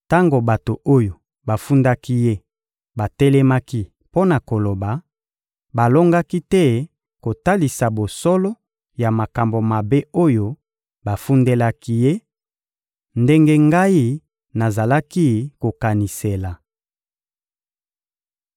Tango bato oyo bafundaki ye batelemaki mpo na koloba, balongaki te kotalisa bosolo ya makambo mabe oyo bafundelaki ye, ndenge ngai nazalaki kokanisela.